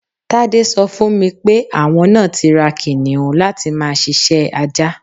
Tádé so̩ fún mi pé àwo̩n náà ti ra kìnìún láti máa s̩is̩é̩ ajá.